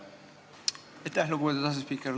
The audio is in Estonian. Aitäh, lugupeetud asespiiker!